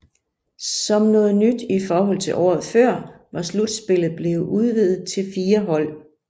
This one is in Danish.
Som noget nyt i forhold til året før var slutspillet blevet udvidet til fire hold